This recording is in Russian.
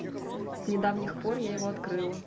с недавних пор я его открыла